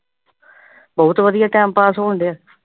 ਬਹੁਤ ਵਧੀਆ time pass ਹੋਣ ਡਿਆ।